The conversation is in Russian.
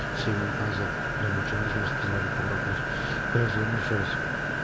распознавание попробовать ещё раз